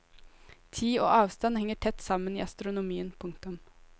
Tid og avstand henger tett sammen i astronomien. punktum